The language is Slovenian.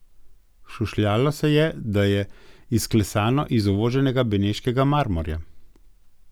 Šušljalo se je, da je izklesano iz uvoženega beneškega marmorja.